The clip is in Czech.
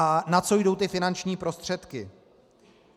A na co jdou ty finanční prostředky.